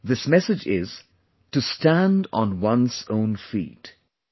This message is 'to stand on one's own feet'